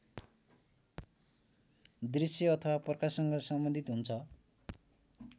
दृश्य अथवा प्रकाशसँग सम्बन्धित हुन्छ